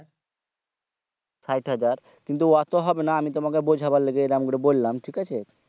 site হাজার কিন্তু auto হবে না আমি তোমাকে বোঝা বার লেগে এরকম বললাম ঠিক আছে